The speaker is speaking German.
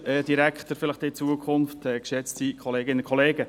Fast jeder hatte seinen Garten.